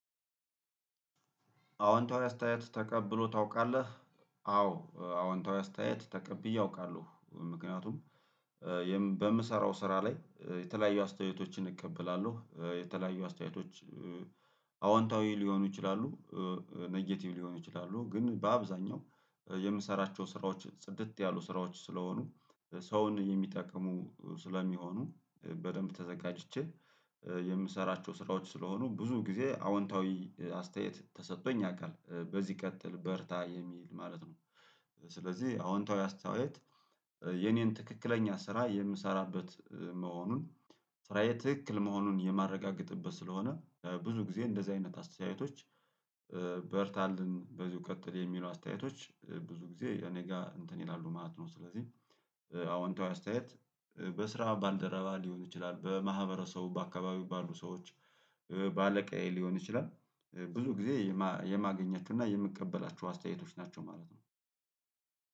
አውንታዊ አስተያየት ተቀብሎ ታውቃለህ? አዎ አውንታዊ አስተያየት ተቀብዬ አውቃለሁ ምክንያቱም በምሰራው ስራ ላይ የተለያዩ አስተያየቶችን እቀበላለሁ የተለያዩ አስተያየቶች አውንታዊ ሊሆኑ ይችላሉ ነጌቲቭ ሊሆኑ ይችላሉ ግን በአብዛኛው የምሰራቸው ስራዎች ጽድት ያሉ ስራዎች ስለሆኑ ሰውን የሚጠቅሙ ስለሚሆኑ በደንብ ተዘጋጅቼ የምሰራቸው ስራዎች ስለሆኑ ብዙ ጊዜ አውንታዊ አስተያየት ተሰጥቶኝ ያውቃል በዚህ ቀጥል በርታ የሚል ማለት ነው። ስለዚህ አውንታዊ አስተያየት የኔን ትክክለኛ ስራ የምሰራበት መሆኑን ስራዬ ትክክል መሆኑን የማረጋግጥበት ስለሆነ ብዙ ጊዜ እንደዚህ አይነት አስተያየቶች በርታልን በዚሁ ቀጥል የሚሉ አስተያየቶች ብዙ ጊዜ እኔ ጋር እንትን ይላሉ ማለት ነው። ስለዚህ አዎንታዊ አስተያየት በስራ ባልደረባ ሊሆን ይችላል በማህበረሰቡ በአካባቢው ባሉ ሰዎች በአለቃዬ ሊሆን ይችላል ብዙ ጊዜ የማገኛቸው እና የምቀበላቸው አስተያየቶች ናቸው ማለት ነው።